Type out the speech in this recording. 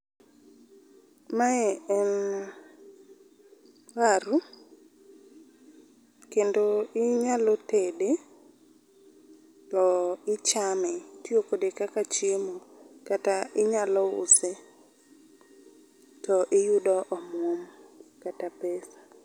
Mae en waru. Kendo inyalo tede to ichame, itiyo kode kaka chiemo kata inyalo use to iyudo omuom kata pesa